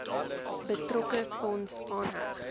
betrokke fonds aanheg